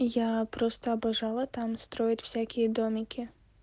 я просто обожала там строит всякие домики